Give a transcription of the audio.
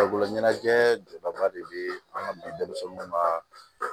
Farikolo ɲɛnajɛ jɔba de be an ŋa bi denmisɛnw ka